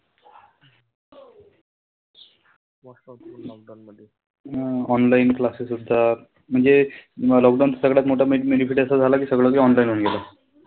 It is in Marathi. हम्म online classes असतात. म्हणजे lockdown चा सगळ्यात मोठा benefit असा झाला कि सगळं जे online होऊन गेलं.